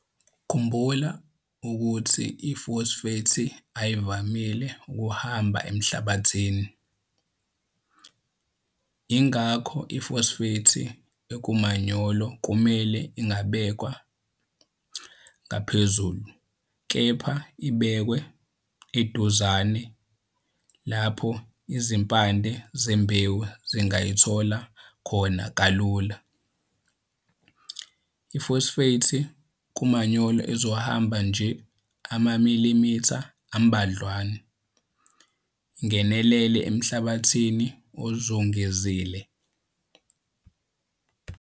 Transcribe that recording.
Khumbula ukuthi ifosfethi ayivamile ukuhamba emhlabathini. Yingakho ifosfethi ekumanyolo kumele ingabekwa ngaphezulu kepha ibekwe eduzane lapho izimpande zembewu zingayithola khona kalula. Ifosfethi kumanyolo izohamba nje amamilimitha ambadlwana ingenelele emhlabathini ozungezile.